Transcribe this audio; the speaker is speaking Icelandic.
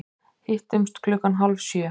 Hittumst klukkan hálf sjö.